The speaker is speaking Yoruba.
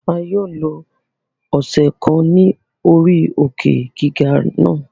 A yoo lo ọsẹ kan ni ori òkè-giga na